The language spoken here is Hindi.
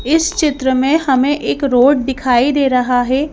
इस चित्र में हमें एक रोड दिखाई दे रहा है।